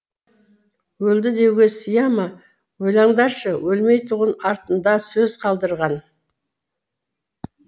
өлді деуге сыя ма ойлаңдаршы өлмейтұғын артына сөз қалдырған